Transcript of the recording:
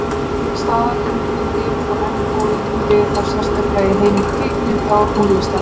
Staðalímyndin lifir þó enn góðu lífi, þá sérstaklega í heimi kvikmynda og tónlistar.